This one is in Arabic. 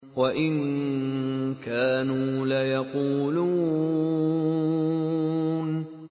وَإِن كَانُوا لَيَقُولُونَ